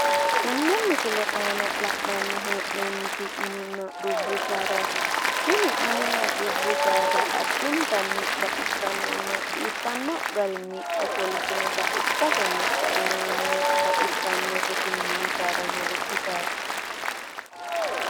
Tene misile aana la'nanni hee'noommoti mininna dubbu saadati tini saada lowo geeshsha baxisanote